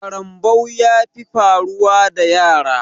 Karambau ya fi faruwa da yara